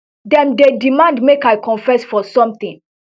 dem dey demand make i confess for sometin